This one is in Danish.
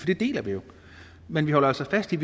det deler vi jo men vi holder altså fast i